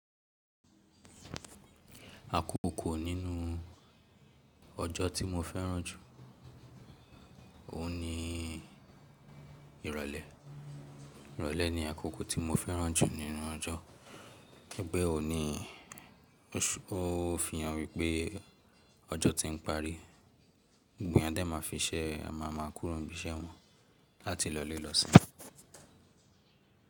Àkókò nínú ọjọ́ tí mo fẹ́ràn jù, òun ni ìrọ̀lẹ́. Ìrọ̀lẹ́ ni àkókò tí mo fẹ́ràn jù nínú ọjọ́, gẹ́gẹ́ òní ó fi hàn wípẹ́ ọjọ́ ti ń parí, gbogbo eeyan a má fi ṣẹ́, a má a kúrò ni ibiṣẹ́ wọn láti lọlé lọ́ simi.